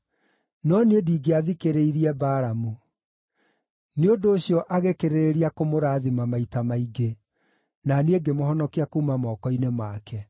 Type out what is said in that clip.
No niĩ ndingĩathikĩrĩirie Balamu; nĩ ũndũ ũcio agĩkĩrĩrĩria kũmũrathima maita maingĩ, na niĩ ngĩmũhonokia kuuma moko-inĩ make.